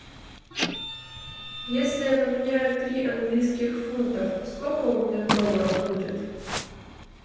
если я поменяю три английских фунтов сколько у меня долларов будет